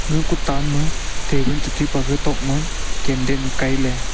ga ku tan ma table che taipe ga tok ma candle kei le.